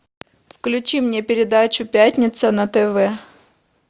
включи мне передачу пятница на тв